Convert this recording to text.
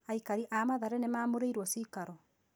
Aikari a Mathare nĩ mamomoreirwo ciikaro.